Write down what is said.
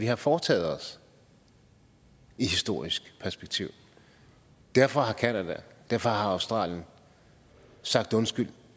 har foretaget sig i et historisk perspektiv derfor har canada og derfor har australien sagt undskyld